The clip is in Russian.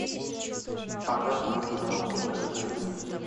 показывай кино острые козырьки